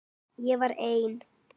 Ég var einn.